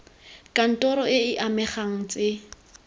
kantoro e e amegang tse